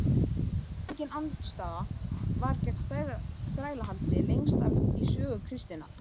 Engin andstaða var gegn þrælahaldi lengst af í sögu kristninnar.